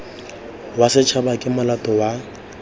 wa setshaba ke molato wa